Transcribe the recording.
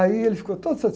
Aí ele ficou todo